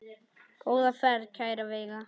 Góða ferð, kæra Veiga.